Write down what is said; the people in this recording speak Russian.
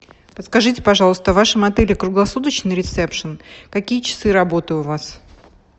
подскажите пожалуйста в вашем отеле круглосуточный ресепшн какие часы работы у вас